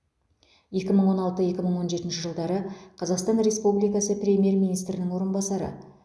екі мың он алты екі мың он жетінші жылдары қазақстан республикасы премьер министрінің орынбасары